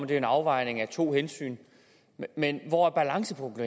det er en afvejning af to hensyn men hvor balancepunktet